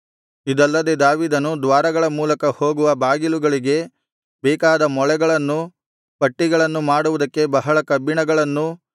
ಇದಲ್ಲದೆ ದಾವೀದನು ದ್ವಾರಗಳ ಮೂಲಕ ಹೋಗುವ ಬಾಗಿಲುಗಳಿಗೆ ಬೇಕಾದ ಮೊಳೆಗಳನ್ನೂ ಪಟ್ಟಿಗಳನ್ನೂ ಮಾಡುವುದಕ್ಕೆ ಬಹಳ ಕಬ್ಬಿಣಗಳನ್ನೂ